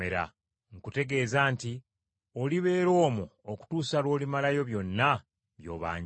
Nkutegeeza nti Olibeera omwo okutuusa lw’olimalayo byonna by’obanjibwa.”